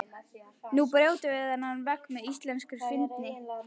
Nú brjótum við þennan vegg með íslenskri fyndni.